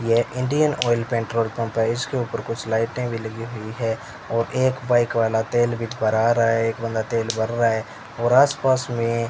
ये Indian Oil petrol pump है इसके ऊपर कुछ लाइटें भी हुई है और एक बाइक वाला तेल भी भरा रहा है एक बंदा तेल भर रहा है और आसपास में --